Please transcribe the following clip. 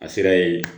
A sera yen